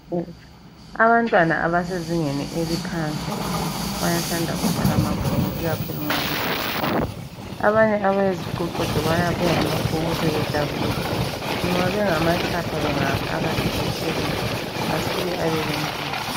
Abantwana abasezingeni eliphansi bayathanda ukubala amabhuku ikakhulu nxa besesikolo. Abanye abayiziqoqodo bayabuya lamabhuku sebedabulile, nxa bengamatshapha bengawafaka esetshelini asuke abe lendlebe .